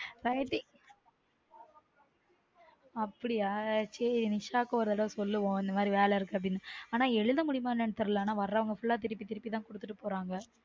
ஆவடி அப்டியா சேரி நிஷாவுக்கும் ஒரு தடவ சொல்லுவோம் இந்த மாதிரி வேல இருக்கு அப்டினு ஆனா எழுத முடியுமானு தெரில வர்ரவங்க full a திருப்பி திருப்பி குடுத்துட்டு போறாங்க